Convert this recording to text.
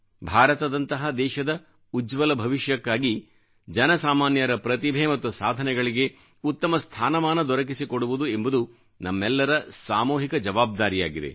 ಭಾರತದಂತಹ ದೇಶದ ಉಜ್ವಲ ಭವಿಷ್ಯಕ್ಕಾಗಿ ಜನಸಾಮಾನ್ಯರ ಪ್ರತಿಭೆ ಮತ್ತು ಸಾಧನೆಗಳಿಗೆ ಉತ್ತಮ ಸ್ಥಾನಮಾನ ದೊರಕಿಸಿಕೊಡುವುದು ಎಂಬುದು ನಮ್ಮೆಲ್ಲರ ಸಾಮೂಹಿಕ ಜವಾಬ್ದಾರಿಯಾಗಿದೆ